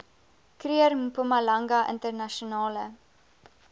kruger mpumalanga internasionale